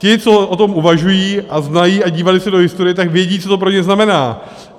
Ti, co o tom uvažují a znají a dívali se do historie, tak vědí, co to pro ně znamená.